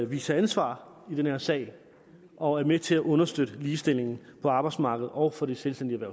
viser ansvar i den her sag og er med til at understøtte ligestillingen på arbejdsmarkedet og for de selvstændigt